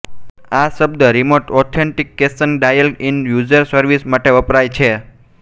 આ શબ્દ remote authentication dial in user service માટે વપરાય છે